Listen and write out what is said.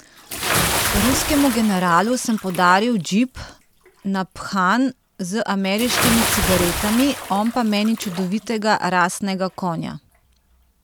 Ruskemu generalu sem podaril džip, naphan z ameriškimi cigaretami, on pa meni čudovitega rasnega konja.